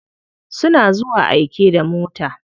Suna zuwa aike da mota.